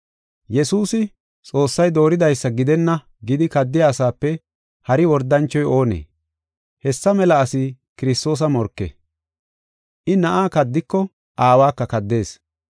Yesuusi, Xoossay dooridaysa gidenna gidi kaddiya asape hari wordanchoy oonee? Hessa mela asi Kiristoosa morke. I na7aa kaddiko Aawaka kaddees.